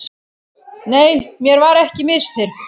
Nei, mér var ekki misþyrmt.